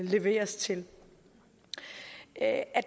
leveres til at